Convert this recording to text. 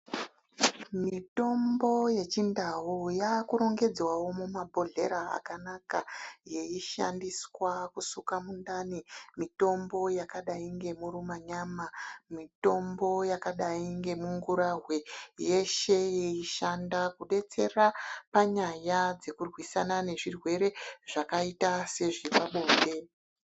Mitombo ye chindau yaku rongedzwawo mu ma bhodhlera akanaka yei shandiswa kusuka mundani mitombo yakadai nge muruma nyama mitombo yakadai nge mungurahwe yeshe yei shanda kudetsera panyaya dzekurwisana ne zvirwere zvakaita se zvepa bonde.